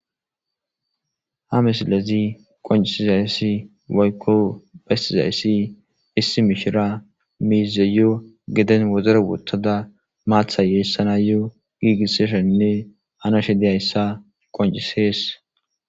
Ha misilezi qonccisizayssi woykko bessizayssi issi mishira miizeyo gedden wodoro woththada maaththay yeessanayo giigisashenne hanashe dizayssa qonccises